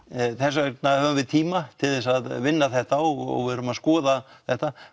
þess vegna höfum við tíma til þess að vinna þetta og verðum að skoða þetta